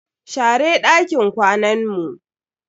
Share dakin kwanan mu.